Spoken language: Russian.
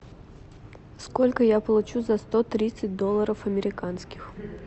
сколько я получу за сто тридцать долларов американских